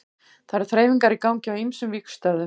Það eru þreifingar í gangi á ýmsum vígstöðvum.